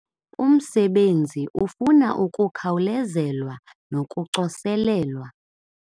Umsebenzi ufuna ukukhawulezelwa nokucoselelwa